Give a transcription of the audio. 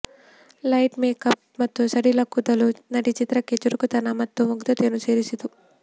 light makeup ಮತ್ತು ಸಡಿಲ ಕೂದಲು ನಟಿ ಚಿತ್ರಕ್ಕೆ ಚುರುಕುತನ ಮತ್ತು ಮುಗ್ಧತೆಯನ್ನು ಸೇರಿಸಿತು